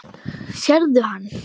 Sérðu hann?